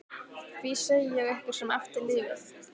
Því segi ég ykkur sem eftir lifið.